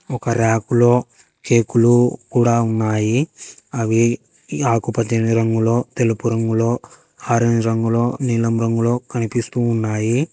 ఒక ర్యకులో కేకులు కూడ ఉన్నాయి అవి ఆకు పచ్చని రంగులో తెలుపు రంగులో ఆరేంజ్ రంగులో నీలం రంగులో కనిపిస్తూ ఉన్నాయి.